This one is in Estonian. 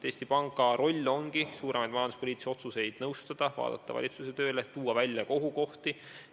Eesti Panga roll ongi suuremaid majanduspoliitilisi otsuseid nõustada, hinnata valitsuse tööd ja ehk ka välja tuua ohukohti.